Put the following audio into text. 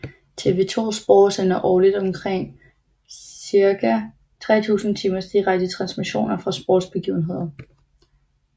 TV 2 SPORT sendte årligt cirka 3000 timers direkte transmissioner fra sportsbegivenheder